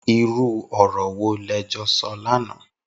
Irù ọrọ wó lẹ jọ sọ làná